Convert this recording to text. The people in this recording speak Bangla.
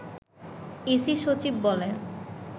ইসি সচিব বলে